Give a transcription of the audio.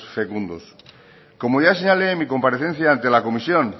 fecundos como ya señalé en mi comparecencia ante la comisión